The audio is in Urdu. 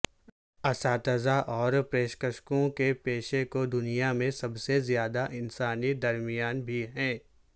اساتذہ اور پرشکشکوں کے پیشے کو دنیا میں سب سے زیادہ انسانی درمیان بھی ہیں